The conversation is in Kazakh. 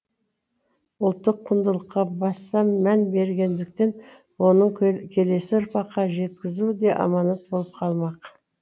ұлттық құндылыққа баса мән бергендіктен оны келесі ұрпаққа жеткізу де аманат болып қалмақ